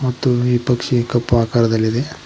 ಮತ್ತು ಈ ಪಕ್ಷಿ ಕಪ್ಪು ಆಕಾರದಲ್ಲಿದೆ.